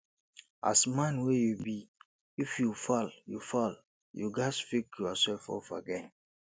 as man wey you be if you fall you fall you ghas pick yourself up again